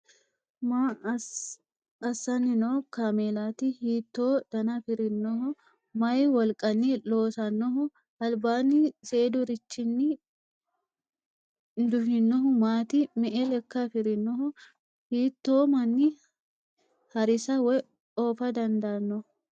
Maa assanni noo kaameelaati? Hiittoo dana afirinoho? Maayi wolqanni loosannoho? Albaanni seedurichinni duhinohu maati? Me"e lekka afirinoho? Hiitto manni harisa woy oofa dandaanno?